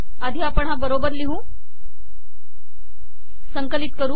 आधी आपण हा बरोबर लिहू संकलित करू